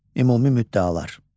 Ümumi müddəalar.